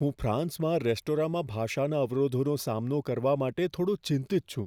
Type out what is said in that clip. હું ફ્રાન્સમાં રેસ્ટોરાંમાં ભાષાના અવરોધોનો સામનો કરવા માટે થોડો ચિંતિત છું.